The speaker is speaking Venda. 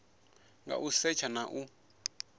nga u setsha na u